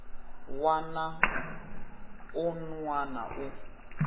wana na un wana u